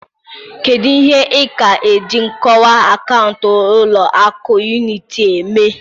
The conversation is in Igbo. Kedu ihe ị ka ji nkọwa akaụntụ ụlọ akụ Unity eme?